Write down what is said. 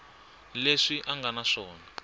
leswi a nga na swona